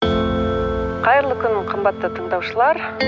қайырлы күн қымбатты тыңдаушылар